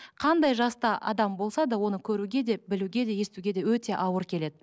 қандай жаста адам болса да оны көруге де білуге де естуге де өте ауыр келеді